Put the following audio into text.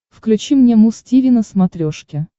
включи мне муз тиви на смотрешке